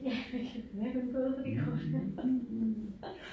Ja hvad kan vi mere finde på ud fra de kort her